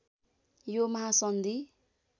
यो महासन्धि